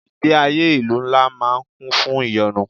Ìgbé ayé ìlú ńlá máa ń kún fún ìyọnu.